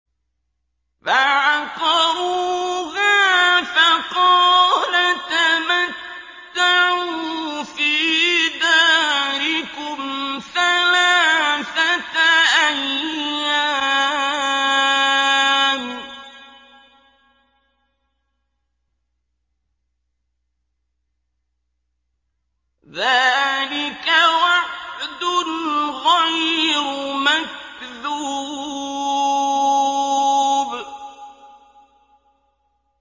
فَعَقَرُوهَا فَقَالَ تَمَتَّعُوا فِي دَارِكُمْ ثَلَاثَةَ أَيَّامٍ ۖ ذَٰلِكَ وَعْدٌ غَيْرُ مَكْذُوبٍ